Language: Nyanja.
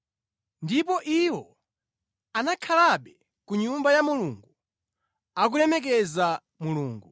Ndipo iwo anakhalabe ku Nyumba ya Mulungu, akulemekeza Mulungu.